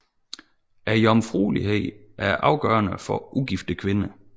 Jomfruelighed er afgørende for ugifte kvinder